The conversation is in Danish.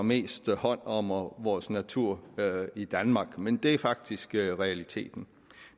mest hånd om vores natur i danmark men det er faktisk realiteten